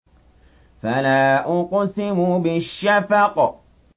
فَلَا أُقْسِمُ بِالشَّفَقِ